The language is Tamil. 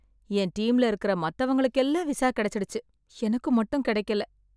என் டீம்ல இருக்கற மத்தவங்களுக்கெல்லாம் விசா கிடைச்சிடுச்சு. எனக்கு மட்டும் கிடைக்கல.